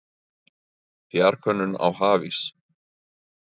Fjarkönnun á hafís